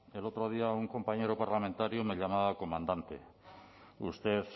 el otro día un compañero parlamentario me llamaba comandante usted